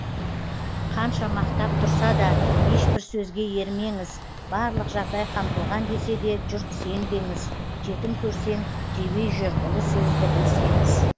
қанша мақтап тұрса да ешбір сөзге ермеңіз барлық жағдай қамтылған десе де жұрт сенбеңіз жетім көрсең жебей жүр ұлы сөзді білсеңіз